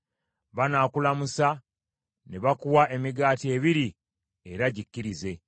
Banaakulamusa ne bakuwa emigaati ebiri, era gikkirize.